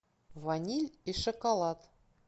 ваниль и шоколад